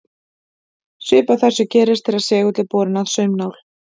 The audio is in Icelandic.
Svipað þessu gerist þegar segull er borinn að saumnál.